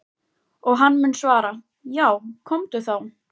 Og hann mun svara:- Já komdu þá.